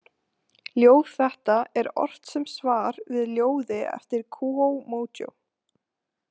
Ljóð þetta er ort sem svar við ljóði eftir Kúó Mójó.